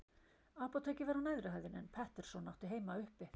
Apótekið var á neðri hæðinni, en Pettersson átti heima uppi.